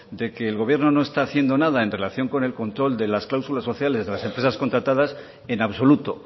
de que el gobierno no está haciendo nada en relación con el control de las cláusulas sociales de las empresas contratadas en absoluto